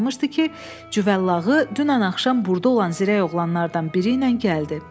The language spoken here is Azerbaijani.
qalmışdı ki, Cüvəllağı dünən axşam burda olan zirəy oğlanlardan biri ilə gəldi.